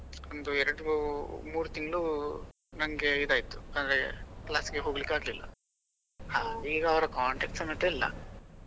ಒಂದು ಎರಡು ಮೂರು ತಿಂಗಳು ನಂಗೆ ಇದಾಯ್ತು ಅಂದ್ರೆ class ಹೋಗ್ಲಿಕ್ಕೆ ಆಗ್ಲಿಲ್ಲ ಹಾ ಈಗ ಅವರ contact ಸಮೇತ ಇಲ್ಲ.